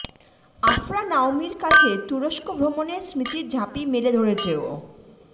আফরা নাওমীর কাছে তুরস্ক ভ্রমণের স্মৃতির ঝাঁপি মেলে ধরেছে ও